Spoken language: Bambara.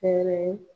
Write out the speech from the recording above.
Hɛrɛ ye